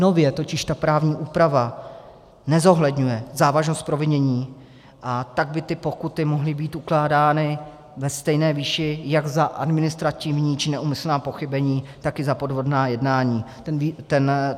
Nově totiž ta právní úprava nezohledňuje závažnost provinění, a tak by ty pokuty mohly být ukládány ve stejné výši jak za administrativní či neúmyslná pochybení, tak i za podvodná jednání.